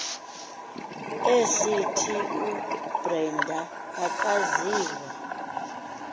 esithi ubrenda akaziwa